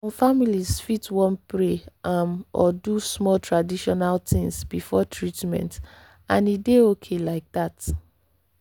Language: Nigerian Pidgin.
some families fit wan pray um or do small traditional things before treatment — and e dey okay like that.